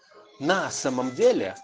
на самом деле